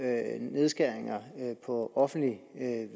nedskæringer på offentlig